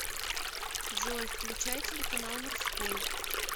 джой включай телеканал морской